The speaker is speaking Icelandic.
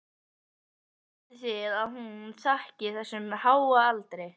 Hvað haldið þið að hún þakki þessum háa aldri?